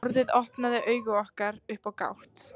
Orðið opnaði augu okkar upp á gátt.